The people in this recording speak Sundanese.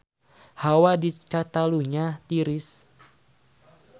Hawa di Catalunya tiris